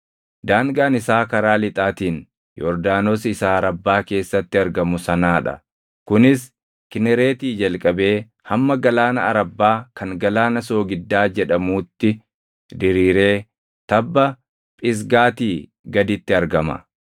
Daangaan isaa karaa lixaatiin Yordaanos isa Arabbaa keessatti argamu sanaa dha; kunis Kinereetii jalqabee hamma Galaana Arabbaa kan Galaana soogiddaa jedhamuutti diriiree tabba Phisgaatii gaditti argama.